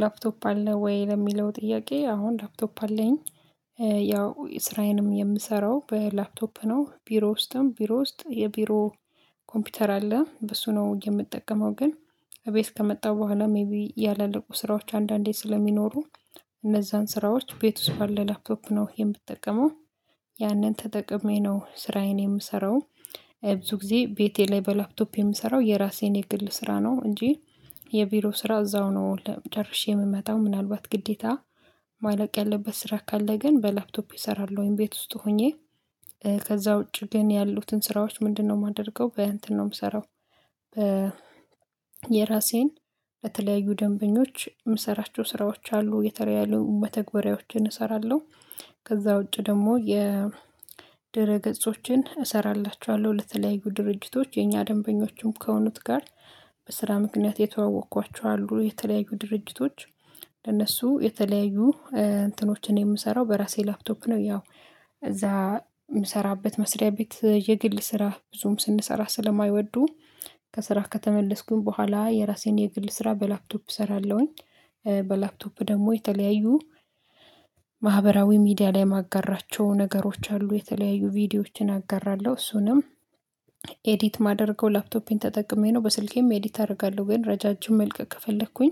ላፕቶፕ አለ ወይ ለሚለው ጥያቄ አሁን ላፕቶፕ አለኝ ያው ስራዬንም የምሰራው በላፕቶፕ ነው ቢሮ ውስጥም ቢሮ ውስጥ የቢሮ ኮምፒውተር አለ በሱ ነው የምጠቀመው ግን እቤት ከመጣው በኋላ ሜይቢ ያላልቁ ስራዎች አንዳንዴ ስለሚኖሩ እነዛን ስራዎች ቤት ውስጥ ባለ ላፕቶፕ ነው የምጠቀመው ያንን ተጠቅሜ ነው ስራዬን የምሰራው ብዙ ጊዜ ቤቴ ላይ በላፕቶፕ የምሰራው የራሴን የግል ስራ ነው እንጂ የቢሮ ስራ እዛው ነው ለ ጨርሼ የምመታው ምናልባት ግዴታ ማለቅ ያለበት ስራ ካለ ግን በላፕቶፔ እሰራለሁኝ ቤት ውስጥ ሆኜ ከዛ ውጪ ግን ያሉትን ስራዎች ምንድነው? የማደርገው በ እንትን ነው የምሰራው። የራሴን በተለያዩ ደንበኞች የምሰራቸው ስራዎች አሉ የተለያዩ መተግበሪያዎችን እሰራለሁ። ከዛ ውጪ ደግሞ የድረ ገጾችን እሰራላችኋለሁ ለተለያዩ ድርጅቶች የኛ ደንበኞችም ከሆኑት ጋር በስራ ምክንያት የተዋወቅኳቸው አሉ የተለያዩ ድርጅቶች ለነሱ የተለያዩ እንትኖችን የምሰራው በራሴ ላፕቶፕ ነው። ያው እዛ የምሰራበት መስሪያ ቤት የግል ስራ ብዙም ስንሰራ ስለማይወዱ ከስራ ከተመለስኩኝ በኋላ የራሴን የግል ስራ በላፕቶፕ እሰራለሁኝ። በላፕቶፕ ደግሞ የተለያዩ ማህበራዊ ሚዲያ ላይ ማጋራቸው ነገሮች አሉ የተለያዩ ቪዲዮዎችን አጋራለሁ እሱንም ኤዲት ማደርገው ላፕቶፔን ተጠቅሜ ነው። በስልኬም ኤዲት አደርጋለሁ ወይም ረጃጅም መልቀቅ ከፈለኩኝ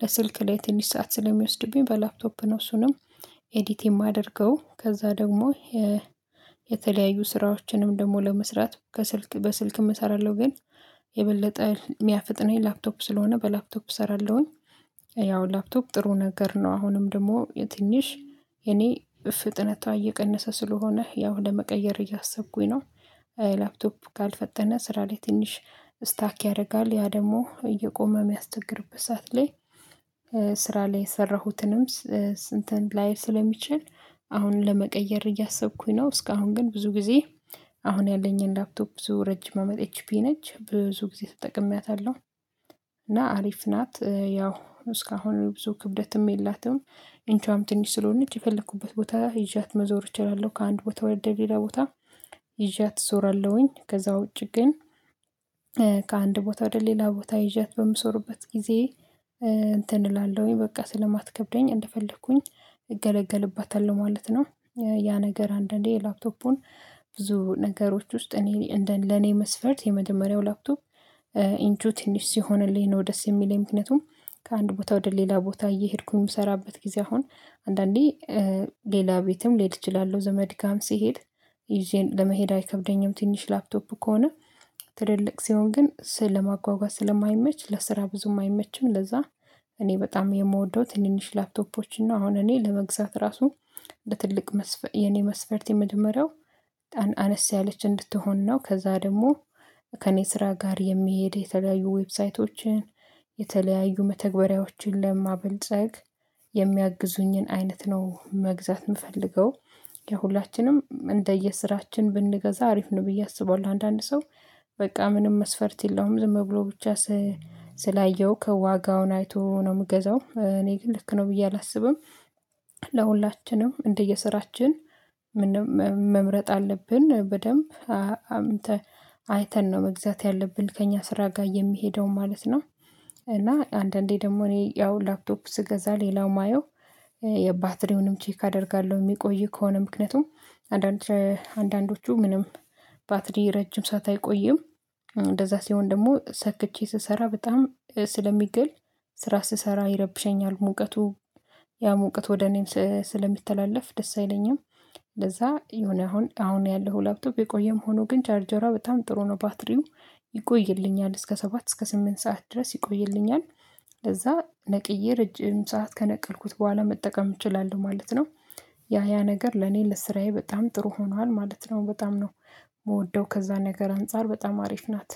በስልክ ላይ ትንሽ ሰዓት ስለሚወስድብኝ በላፕቶፕ ነው እሱንም ኤዲት የማደርገው ከዛ ደግሞ የተለያዩ ስራዎችንም ደግሞ ለመስራት ከስልክ በስልክ እሰራለሁ ግን የበለጠ የሚያፍጥነኝ ላፕቶፕ ስለሆነ በላፕቶፕ እሰራለሁኝ። ያው ላፕቶፕ ጥሩ ነገር ነው አሁንም ደግሞ የትንሽ የኔ ፍጥነቷ እየቀነሰ ስለሆነ ያው ለመቀየር እያሰብኩኝ ነው። ላፕቶፕ ካልፈጠነ ስራ ላይ ትንሽ ስታክ ያደርጋል ያ ደግሞ እየቆመ የሚያስቸግርበት ሰዓት ላይ ስራ ላይ የሰራሁትንም እንትን ላይል ስለሚችል አሁን ለመቀየር እያሰብኩኝ ነው። እስካሁን ግን ብዙ ጊዜ አሁን ያለኝን ላፕቶፕ ብዙ ረጅም አመጥ ኤች ፒ ነች ብዙ ጊዜ ተጠቅሜያታለሁ አሪፍ ናት ያው እስካሁን ብዙ ክብደትም የላትም። ኢንቿም ትንሽ ስለሆንች የፈለኩበት ቦታ ይዣት መዞር እችላለሁ ከአንድ ቦታ ወደ ሌላ ቦታ ይዣት እዞራለሁኝ ከዛ ውጪ ግን ከአንድ ቦታ ወደ ሌላ ቦታ ይዣት በምዞርበት ጊዜ እንትን እላለሁኝ በቃ ስለማትከብደኝ እንደፈለኩኝ እገለገልባታለሁ ማለት ነው። ያ ነገር አንዳንዴ ላፕቶፑን ብዙ ነገሮች ውስጥ እኔ እንደ ለኔ መስፈርት የመጀመሪያው ላፕቶፕ ኢንቹ ትንሽ ሲሆንልኝ ነው ደስ የሚለኝ ምክንያቱም ከአንድ ቦታ ወደ ሌላ ቦታ እየሄድኩኝ የምሰራበት ጊዜ አሁን አንዳንዴ ሌላ ቤትም ልሄድ እችላለሁ። ዘመድ ጋም ስሄድ ይዤ ለመሄድ አይከብደኝም ትንሽ ላፕቶፕ ከሆነ ትልልቅ ሲሆን ግን ስል ለማጓጓዝ ስለማይመች ለስራ ብዙም አይመችም ለዛ። እኔ በጣም የምወደው ትንንሽ ላፕቶፖችን እና አሁን እኔ ለመግዛት ራሱ በትልቅ መስፈርት የኔ መስፈርት የመጀመሪያው አነስ ያለች እንድትሆን ነው። ከዛ ደግሞ ከእኔ ስራ ጋር የሚሄድ የተለያዩ ዌብሳይቶችን የተለያዩ መተግበሪያዎችን ለማበልጸግ የሚያግዙኝን አይነት ነው መግዛት የምፈልገው። የሁላችንም እንደየስራችን ብንገዛ አሪፍ ነው ብዬ አስባለሁ አንዳንድ ሰው በቃ ምንም መስፈርት የለውም ዝም ብሎ ብቻ ስላየሁ ከዋጋውን አይቶ ነው የምገዛው እኔ ግን ልክ ነው ብዬ አላስብም። ለሁላችንም እንደየስራችን መምረጥ አለብን በደንብ አይተን ነው መግዛት ያለብን ከእኛ ስራ ጋር የሚሄደው ማለት ነው። እና አንዳንዴ ደግሞ እኔ ያው ላፕቶፕ ስገዛ ሌላው የማየው የባትሪውንም ቼክ አደርጋለሁ የሚቆይ ከሆነ ምክንያቱም አንዳንዶቹ ምንም ባትሪ ረጅም ሰዓት አይቆይም እንደዛ ሲሆን ደግሞ ሰክቼ ስሰራ በጣም ስለሚግል ስራ ስሰራ ይረብሸኛል ሙቀቱ ያ ሙቀት ወደ እኔም ስለሚተላለፍ ደስ አይለኝም። እንደዛ የሆነ አሁን አሁን ያለው ላፕቶፕ የቆየም ሆኖ ግን ቻርጀሯ በጣም ጥሩ ነው ባትሪው ይቆይልኛል እስከ ሰባት እስከ ስምንት ሰዓት ድረስ ይቆይልኛል። ከዛ ነቅዬ ረጅም ሰዓት ከነቀልኩት በኋላ መጠቀም እችላለሁ ማለት ነው። ያ ያ ነገር ለኔ ልስራዬ በጣም ጥሩ ሆኗል ማለት ነው። በጣም ነው የምወደው ከዛ ነገር አንፃር በጣም አሪፍ ናት